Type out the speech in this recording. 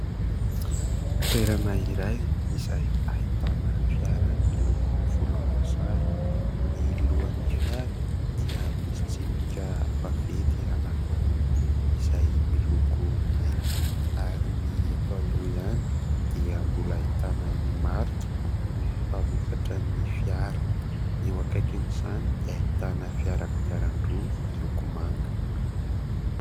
Toerana iray izay ahitana fiara miloko volomboasary. Ny lohan'ny fiara dia misy tsipika vaventy anankiroa izay miloko mainty ary ny eto aloha ihany dia mbola ahitana ny marikan'ny mpamokatra ny fiara. Ny eo akaikin'izany dia ahitana fiara kodiaran-droa miloko manga.